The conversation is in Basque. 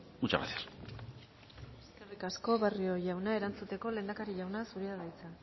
muchas gracias eskerrik asko barrio jauna erantzuteko lehendakari jauna zurea da hitza